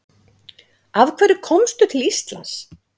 Af hverju komstu til Íslands?